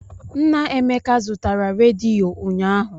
Nna Emeka zụtara rediyo ụnyaahụ.